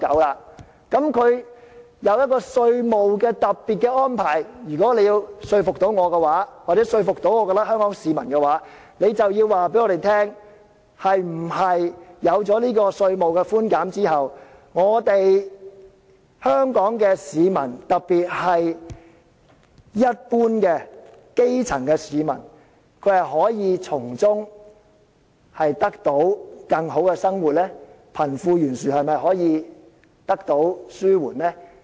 政府推出這個稅務特別安排，如果你要說服我或者香港市民的話，你便要告訴我們，是否有了這個稅務寬減後，香港市民，特別是一般基層市民，可以從中得到更好的生活，貧富懸殊是否可以得到紓緩呢？